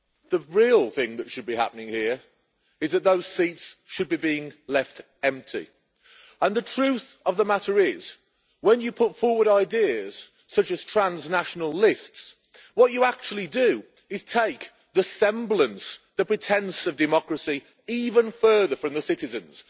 The real thing that should be happening here is that those seats should be left empty. The truth of the matter is that when you put forward ideas such as transnational lists what you actually do is take the semblance, the pretence, of democracy even further from the citizens.